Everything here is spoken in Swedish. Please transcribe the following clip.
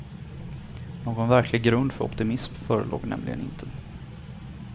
Någon verklig grund för optimism förelåg nämligen inte.